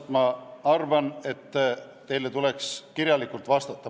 Ma arvan, et teile tuleks kirjalikult vastata.